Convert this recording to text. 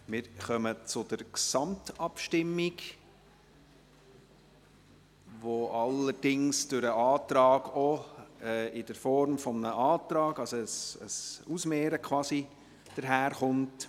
Wir kommen zur Gesamtabstimmung, die allerdings durch den Antrag auch quasi als Gegenüberstellung daherkommt.